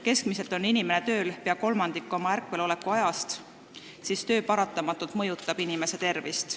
Keskmiselt on inimene tööl umbes kolmandiku ööpäevast ja töö paratamatult mõjutab inimese tervist.